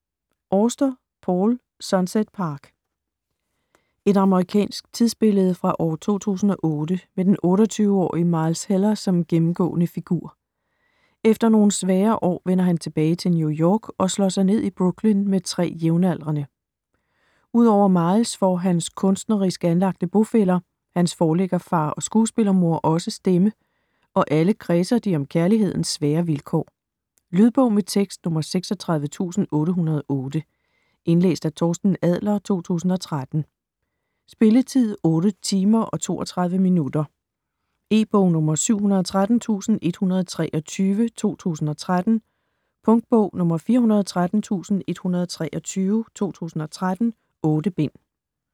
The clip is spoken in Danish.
Auster, Paul: Sunset Park Et amerikansk tidsbillede fra år 2008 med den 28-årige Miles Heller som gennemgående figur. Efter nogle svære år vender han tilbage til New York og slår sig ned i Brooklyn med tre jævnaldrende. Ud over Miles får hans kunstnerisk anlagte bofæller, hans forlæggerfar og skuespillermor også stemme, og alle kredser de om kærlighedens svære vilkår. Lydbog med tekst 36808 Indlæst af Torsten Adler, 2013. Spilletid: 8 timer, 32 minutter. E-bog 713123 2013. Punktbog 413123 2013. 8 bind.